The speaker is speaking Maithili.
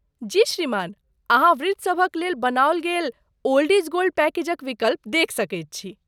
जी श्रीमान। अहाँ वृद्धसभक लेल बनाओल गेल 'ओल्ड इज गोल्ड' पैकेजक विकल्प देखि सकैत छी।